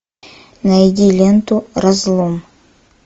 найди ленту разлом